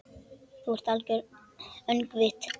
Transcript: Þú ert algert öngvit!